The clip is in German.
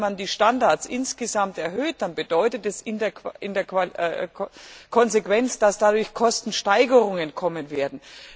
Wenn man die Standards insgesamt erhöht, dann bedeutet es in der Konsequenz, dass dadurch Kostensteigerungen kommen werden.